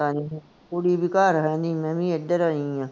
ਪਤਾ ਨੀ, ਕੁੜੀ ਵੀ ਘਰ ਹੈਨੀ ਮੈਂ ਵੀ ਏਧਰ ਆਈ ਆ